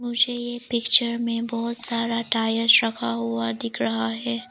मुझे ये पिक्चर में बहुत सारा टायर्स रखा हुआ दिख रहा है।